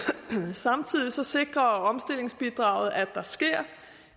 samtidig sikrer omstillingsbidraget at der sker